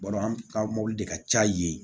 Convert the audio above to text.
Balo an ka mɔbili de ka ca yen